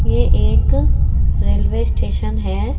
ये एक railway station है।